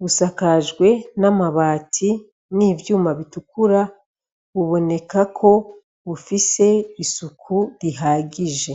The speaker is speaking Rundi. busakajwe n' amabati n' ivyuma bitukura buboneka ko bufise isuku rihagije.